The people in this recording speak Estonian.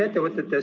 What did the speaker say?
Jaa, me kuulsime.